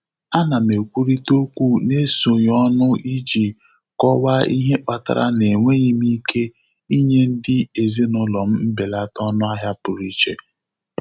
Ana m ekwụrita okwu n'ezoghị ọnụ iji kọwaa ihe kpatara na enweghị m ike ịnye ndị ezịnụlọ m mbelata ọnụahịa pụrụ iche.